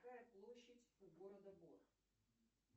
какая площадь у города гоа